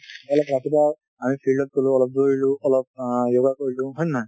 অলপ ৰাতিপুৱা আমি field ত গালোঁ, অলপ দৌৰিলোঁ , অলপ অ yoga কৰিলোঁ , হয় নে নহয়।